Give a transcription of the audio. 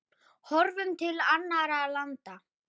Horfum til annarra landa.